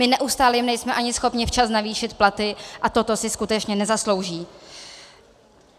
My neustále jim nejsme ani schopni včas navýšit platy a toto si skutečně nezaslouží.